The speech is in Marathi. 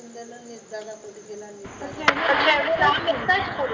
दादा कोटी गेला